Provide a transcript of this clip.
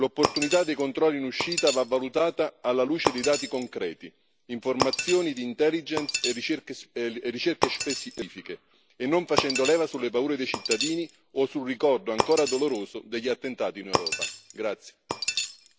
In definitiva, l'opportunità dei controlli in uscita va valutata alla luce dei dati concreti, informazioni di intelligence e ricerche specifiche e non facendo leva sulle paure dei cittadini o sul ricordo ancora doloroso degli attentati in Europa.